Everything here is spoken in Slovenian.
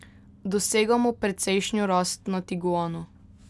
Dosegamo precejšno rast na tiguanu.